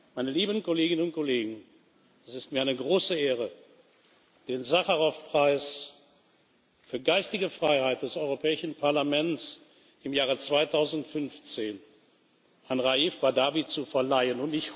Meine lieben Kolleginnen und Kollegen, es ist mir eine besondere Ehre, den Sacharow Preis für geistige Freiheit des Europäischen Parlaments im Jahre 2015 an Raif Badawi zu verleihen.